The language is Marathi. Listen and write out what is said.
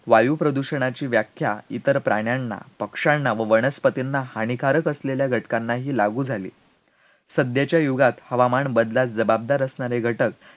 वायुप्रदूषणाची व्याख्या इतर प्राण्यांना, पक्षांना व वनस्पतींना हानिकारक असलेल्या घटकांनाही लागू झाली, सध्याच्या युगात हवामान बदलास जबाबदार असणारे घटक